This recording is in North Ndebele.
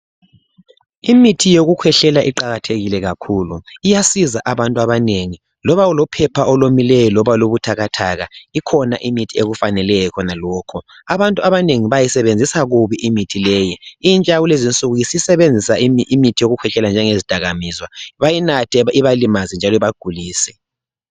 Imithi yokukhwehlela iqakathekile kakhulu iyasiza abantu abanengi loba ulophepha oluwomileyo loba olubuthakathaka ikhona imithi ekufaneleyo khonalokho. Abantu abanengi bayisebenzisa kubi imithi leyo. Intsha yakulezi insuku isisebenzisa imithi yokukhwehlela njenge zidakamizwa bayinathe ibalimale njalo ibagulise.